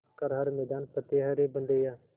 कर हर मैदान फ़तेह रे बंदेया